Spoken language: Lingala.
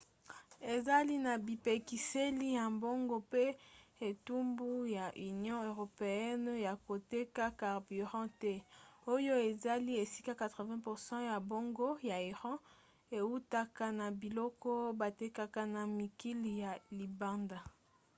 ezali na bipekiseli ya mbongo mpe etumbu ya union europeenne ya koteka carburant te oyo ezali esika 80% ya mbongo ya iran eutaka na biloko batekaka na mikili ya libanda